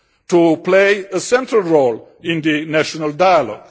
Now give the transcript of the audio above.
to play a central role in the national dialogue.